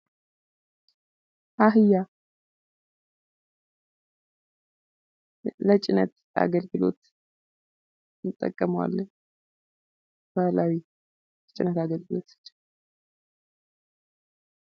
አህያ ለጭነት አገልግሎት እንጠቀመዋለን። ለባህላዊ የጭነት አገልግሎቶች